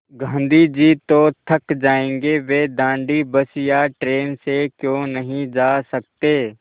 गाँधी जी तो थक जायेंगे वे दाँडी बस या ट्रेन से क्यों नहीं जा सकते